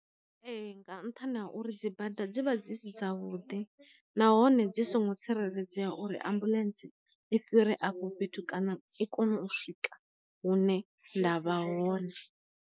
Ee nga ntha na uri dzi bada dzi vha dzi si dzavhuḓi nahone dzi songo tsireledzea uri ambuḽentse i fhire afho fhethu kana i kone u swika hune nda vha hone.